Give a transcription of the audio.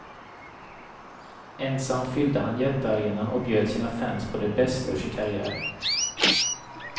Ensam fyllde han jättearenan och bjöd sina fans på det bästa ur sin karriär.